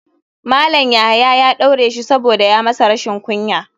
Malam yahaya ya daure shi saboda ya masa rashin kunya.